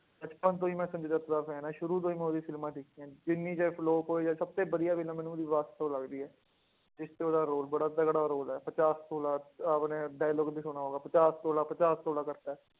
ਬਚਪਨ ਤੋਂ ਹੀ ਮੈਂ ਸੰਜੇ ਦੱਤ ਦਾ fan ਹਾਂ ਸ਼ੁਰੂ ਤੋਂ ਹੀ ਮੈਂ ਉਹਦੀ ਫ਼ਿਲਮਾਂ ਦੇਖੀਆਂ, ਜਿੰਨੀ ਚਾਹੇ flop ਹੋਏ ਜਾਂ ਸਭ ਤੋਂ ਵਧੀਆ film ਮੈਨੂੰ ਉਹਦੀ ਵਾਸਤਵ ਲੱਗਦੀ ਹੈ, ਜਿਸ ਚ ਉਹਦਾ ਰੋਲ ਬੜਾ ਤਕੜਾ ਰੋਲ ਹੈ, ਪਚਾਸ ਤੋਲਾ, ਆਪਣੇ dialogue ਵੀ ਸੁਣਿਆ ਹੋਗਾ, ਪਚਾਸ ਤੋਲਾ ਪਚਾਸ ਤੋਲਾ ਕਰਕੇ